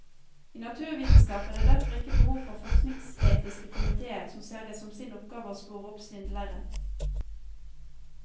I naturvitenskap er det derfor ikke behov for forskningsetiske komitéer som ser det som sin oppgave å spore opp svindlere.